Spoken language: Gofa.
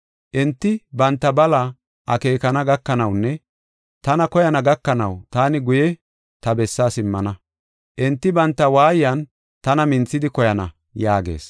Enti banta bala akeekana gakanawunne tana koyana gakanaw taani guye ta bessaa simmana. Enti banta waayan tana minthidi koyana’ ” yaagees.